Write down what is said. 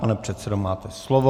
Pane předsedo, máte slovo.